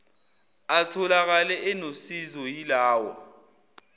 atholakale enosizo yilawa